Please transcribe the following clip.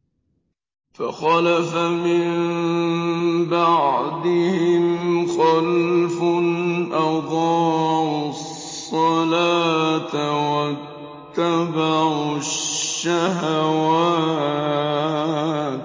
۞ فَخَلَفَ مِن بَعْدِهِمْ خَلْفٌ أَضَاعُوا الصَّلَاةَ وَاتَّبَعُوا الشَّهَوَاتِ ۖ